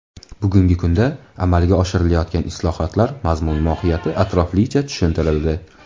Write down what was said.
Bugungi kunda amalga oshirilayotgan islohotlar mazmun-mohiyati atroflicha tushuntirildi.